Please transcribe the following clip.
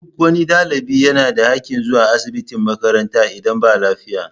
Duk wani ɗalibi yana da haƙƙin zuwa asibitin makaranta idan ba lafiya